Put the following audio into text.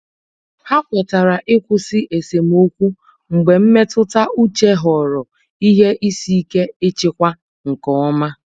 Ha kwetere ịkwụsị esemokwu mgbe mmetụta uche ghọrọ ihe isi ike ịchịkwa nke ọma.